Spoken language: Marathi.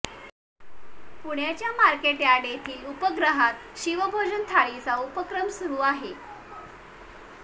पुण्याच्या मार्केटयार्ड येथील उपहारगृहात शिवभोजन थाळीचा उपक्रम सुरू आहे